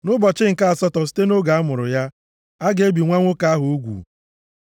Nʼụbọchị nke asatọ site nʼoge a mụrụ ya, a ga-ebi nwa nwoke ahụ ugwu.